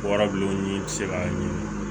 Warabilenw ni se ka ɲini